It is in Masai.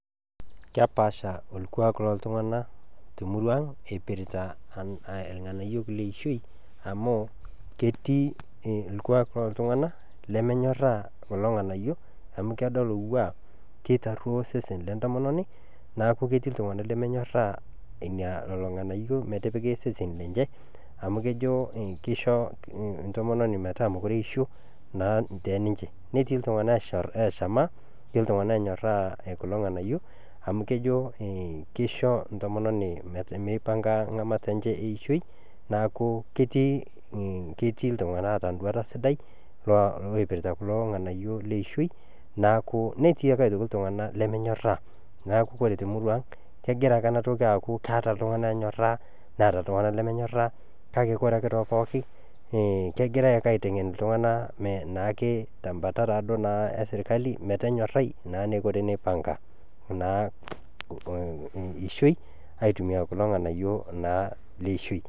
Kepaasha orkuak loo ltungana te muruaang' eipirta irnganayio le ishoi amu ketii orkuak loo ltunganak lemenyoraa kulo irnganayio amu kedol ewuaa keitarioo osesn le intomononi, neaku ketii ltunganak lemenyoraa lelo irnganayio metipiki seseni lenye amuu kejo keisho intomononi metaa mekure eisho naa tee ninche, netii ltunganak eshama netii ltunganak onyoraa kulo irnganayio amu kejo keisho intomononi meipanga ng'amata enye eishoi, naaku ketii ltungana oota enduata sidai oipirta kulo irnganayio le ishoi naaku netii ake ltungana lemenyoraa, neaku koree te muruaang' kegira ake ana toki aaku keeta ltunganak enyoraa neeta ltunganak lrmrnyoraa kake ore ake too pooki ekegirai ake aitengen ltunganak naake te mbata taado naa eserikali metonyorai naake neiko teneipang'a naa ishoi aitumiyaa kulo irnganayio naa le ishoi.